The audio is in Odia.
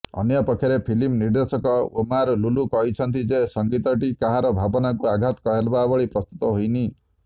ଅନ୍ୟପକ୍ଷରେ ଫିଲ୍ମ ନିର୍ଦ୍ଦେଶକ ଓମାର ଲୁଲୁ କହିଛନ୍ତି ଯେ ସଂଗୀତଟି କାହାର ଭାବନାକୁ ଆଘାତ ଦେବାଭଳି ପ୍ରସ୍ତୁତ ହୋଇନି